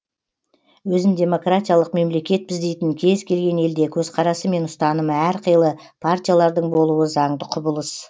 өзін демократиялық мемлекетпіз дейтін кез келген елде көзқарасы мен ұстанымы әр қилы партиялардың болуы заңды құбылыс